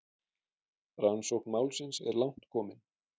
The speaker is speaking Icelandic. Rannsókn málsins er langt komin.